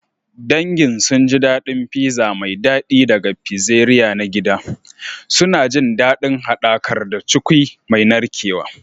Dangin sun ji daɗin pizza mai daɗi daga pizzeria na gida, suna jin daɗin haɗakar da cukwi mai narkewa.